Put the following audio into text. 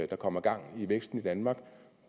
der kommer gang i væksten i danmark